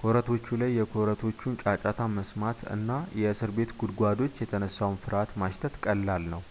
ኮረቶቹ ላይ የኮቴዎቹን ጫጫታ መስማት እና ከእስር ቤት ጉድጓዶች የተነሳውን ፍርሃት ማሽተት ቀላል ነው